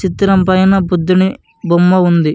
చిత్రం పైన బుద్ధుని బొమ్మ ఉంది.